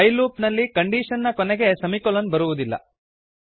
while loop ನಲ್ಲಿ condition ನ ಕೊನೆಗೆ ಸೆಮಿಕೊಲನ್ ಬರುವುದಿಲ್ಲ